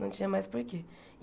Não tinha mais porquê.